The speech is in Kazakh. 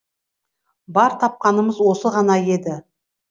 бар тапқанымыз осы ғана еді